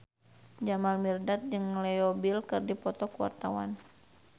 Jamal Mirdad jeung Leo Bill keur dipoto ku wartawan